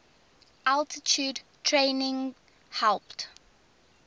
altitude training helped